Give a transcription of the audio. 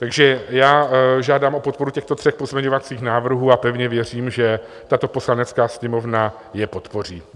Takže já žádám o podporu těchto tří pozměňovacích návrhů a pevně věřím, že tato Poslanecká sněmovna je podpoří.